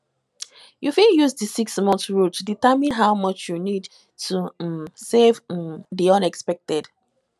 you fit use di 6month rule to determine how much you need to um save um for di unexpected